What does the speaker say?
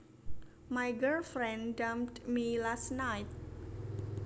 My girlfriend dumped me last night